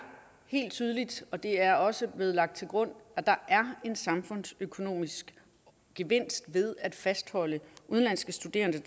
helt tydeligt og det er også blevet lagt til grund at der er en samfundsøkonomisk gevinst ved at fastholde udenlandske studerende